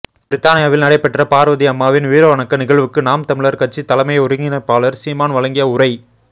பிரித்தானியாவில் நடைபெற்ற பார்வதி அம்மாவின் வீரவணக்க நிகழ்வுக்கு நாம் தமிழர் கட்சி தலைமை ஒருங்கிணைப்பாளர் சீமான் வழங்கிய உரை